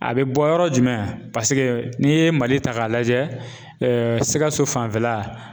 A bɛ bɔ yɔrɔ jumɛn paseke n'i ye Mali ta k'a lajɛ sikaso fanfɛla